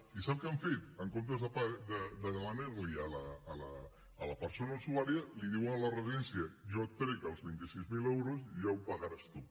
i saben què han fet en comptes de demanarliho a la persona usuària diuen a la residència jo et trec els vint sis mil euros i ja ho pagaràs tu